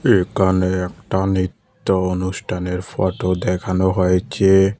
একানে একটা নিত্য অনুষ্ঠানের ফটো দেখানো হয়েছে।